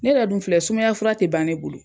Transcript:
Ne yɛrɛ dun filɛ sumaya fura tɛ ban ne bolo.